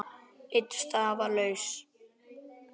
Ein staða var laus.